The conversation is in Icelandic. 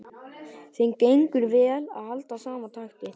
Þeim gengur vel að halda sama takti.